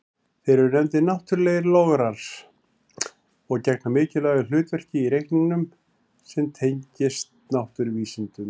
Þeir eru nefndir náttúrlegir lograr og gegna mikilvægu hlutverki í reikningum sem tengjast náttúruvísindum.